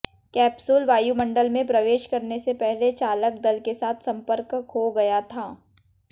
capsule वायुमंडल में प्रवेश करने से पहले चालक दल के साथ संपर्क खो गया था